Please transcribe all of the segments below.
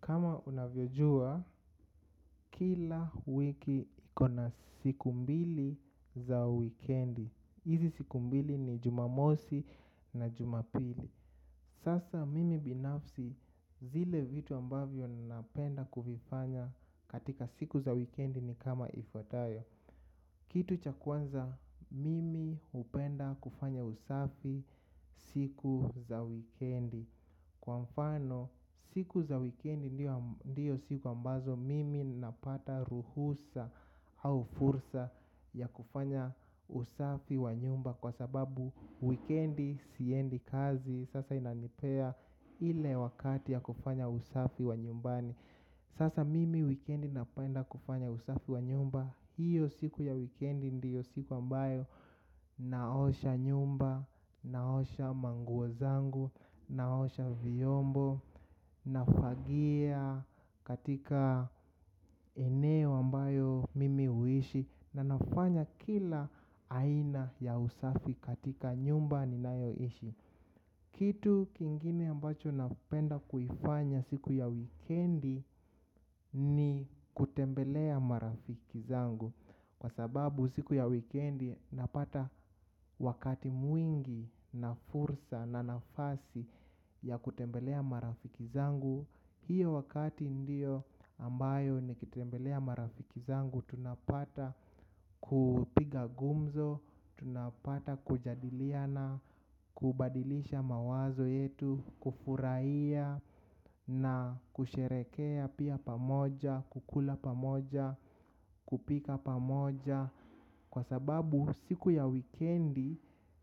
Kama unavyojua, kila wiki iko na siku mbili za wikendi. Hizi siku mbili ni jumamosi na jumapili. Sasa mimi binafsi zile vitu ambavyo ninapenda kuvifanya katika siku za wikendi ni kama ifuatayo. Kitu cha kwanza, mimi upenda kufanya usafi siku za wikendi. Kwa mfano siku za wikendi ndiyo siku ambazo mimi napata ruhusa au fursa ya kufanya usafi wa nyumba kwa sababu wikendi siendi kazi sasa inanipea ile wakati ya kufanya usafi wa nyumbani. Sasa mimi wikendi napenda kufanya usafi wa nyumba. Hiyo siku ya wikendi ndiyo siku ambayo naosha nyumba, naosha manguo zangu, naosha viombo. Nafagia katika eneo ambayo mimi uishi. Na nafanya kila aina ya usafi katika nyumba ni nayo ishi. Kitu kingine ambacho napenda kuifanya siku ya wikendi ni kutembelea marafiki zangu. Kwa sababu siku ya wikendi napata wakati mwingi na fursa na nafasi ya kutembelea marafiki zangu. Hiyo wakati ndio ambayo nikitembelea marafiki zangu, tunapata kupiga gumzo, tunapata kujadiliana kubadilisha mawazo yetu, kufurahia na kusherekea pia pamoja, kukula pamoja, kupika pamoja. Kwa sababu siku ya wikendi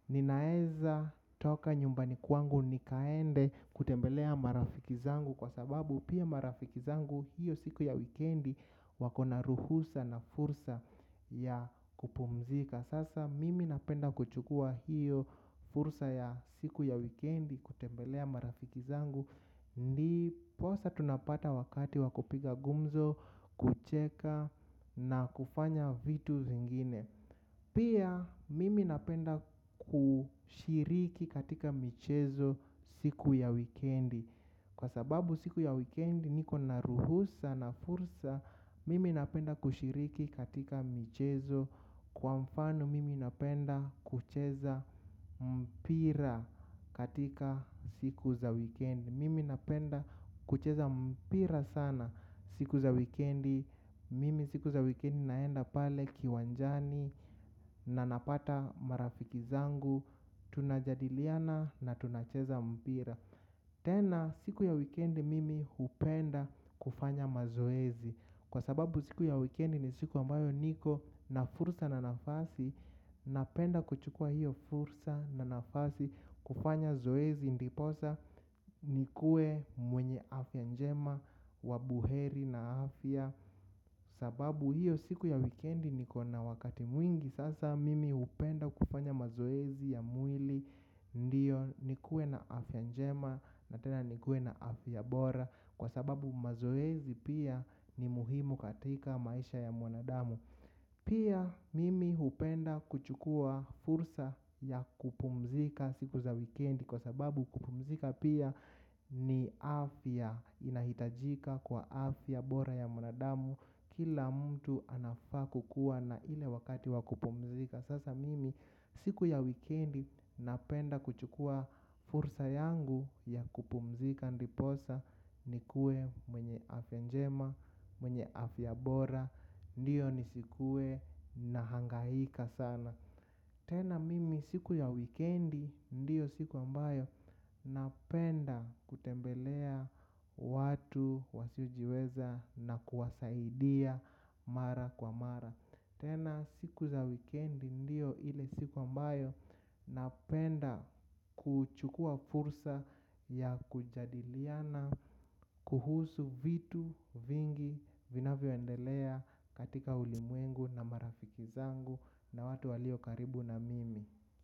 ninaeza toka nyumbani kwangu nikaende kutembelea marafiki zangu. Kwa sababu pia marafiki zangu hiyo siku ya wikendi wako na ruhusa na fursa ya kupumzika. Sasa mimi napenda kuchukua hiyo fursa ya siku ya wikendi kutembelea marafiki zangu. Ndiposa tunapata wakati wakupiga gumzo, kucheka na kufanya vitu zingine. Pia mimi napenda kushiriki katika michezo siku ya wikendi. Kwa sababu siku ya wikendi niko na ruhusa na fursa. Mimi napenda kushiriki katika michezo. Kwa mfano mimi napenda kucheza mpira katika siku za wikendi. Mimi napenda kucheza mpira sana siku za wikendi. Mimi siku za wikendi naenda pale kiwanjani na napata marafiki zangu. Tunajadiliana na tunacheza mpira. Tena siku ya wikendi mimi hupenda kufanya mazoezi. Kwa sababu siku ya wikendi ni siku ambayo niko na fursa na nafasi. Napenda kuchukua hiyo fursa na nafasi kufanya zoezi. Ndiposa nikue mwenye afya njema wa buheri na afya. Sababu hiyo siku ya wikendi nikona wakati mwingi. Sasa mimi hupenda kufanya mazoezi ya mwili. Ndiyo nikuwe na afya njema na tena nikuwe na afya bora. Kwa sababu mazoezi pia ni muhimu katika maisha ya mwanadamu. Pia mimi upenda kuchukua fursa ya kupumzika siku za wikendi. Kwa sababu kupumzika pia ni afya inahitajika kwa afya bora ya mwanadamu. Kila mtu anafaa kukuwa na ile wakati wa kupumzika. Sasa mimi siku ya wikendi napenda kuchukua fursa yangu ya kupumzika ndiposa nikuwe mwenye afya njema, mwenye afya bora, ndiyo nisikue nahangahika sana. Tena mimi siku ya wikendi ndiyo siku ambayo napenda kutembelea watu wasiojiweza na kuwasaidia mara kwa mara. Tena siku za wikendi ndio ile siku ambayo napenda kuchukuwa fursa ya kujadiliana kuhusu vitu vingi vinavyo endelea katika ulimwengu na marafiki zangu na watu walio karibu na mimi.